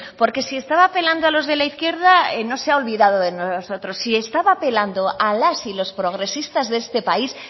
porque si estaba apelando a los de la izquierda no se ha olvidado de nosotros si estaba apelando a las y los progresistas de este país